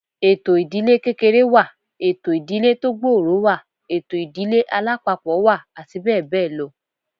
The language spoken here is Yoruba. Ètò ìdílé kékeré wà, ètò ìdílé tó gbòòrò wà, ètò ìdílé alápapọ̀ wà àti bẹ́ẹ̀ bẹ́ẹ̀ lọ